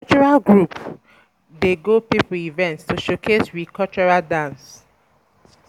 My cultural group dey go pipo event to showcase we cultural dance.